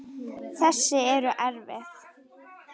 Þessi er erfið.